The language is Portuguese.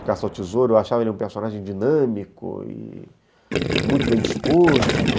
O Caça ao Tesouro, eu achava ele um personagem dinâmico e muito bem disposto.